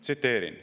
Tsiteerin.